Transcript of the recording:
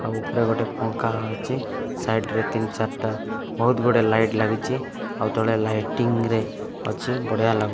ଆଉ ଉପରେ ଗୋଟେ ପଙ୍ଖା ଅଛି ସାଇଡ୍ ରେ ତିନ ଚାରିଟା ବହୁତ ଗୁଡାଏ ଲାଇଟ୍ ଲାଗିଛି ଆଉ ତଳେ ଲାଇଟିଂ ରେ ଅଛି ବଢ଼ିଆ ଲାଗୁ --